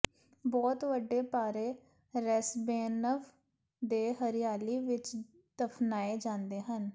ਬਹੁਤ ਵੱਡੇ ਭਾਰੇ ਰੈਸ੍ਬੇਨਵ ਦੇ ਹਰਿਆਲੀ ਵਿੱਚ ਦਫਨਾਏ ਜਾਂਦੇ ਹਨ